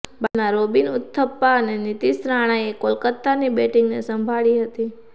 બાદમાં રોબિન ઉથપ્પા અને નીતિશ રાણાએ કોલકાતાની બેટિંગને સંભાળી હતી